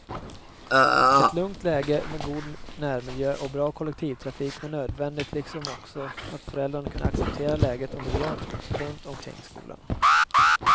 Ett lugnt läge med god närmiljö och bra kollektivtrafik var nödvändigt liksom också att föräldrarna kunde acceptera läget och miljön runt omkring skolan.